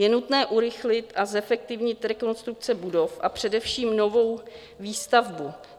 Je nutné urychlit a zefektivnit rekonstrukce budov a především novou výstavbu.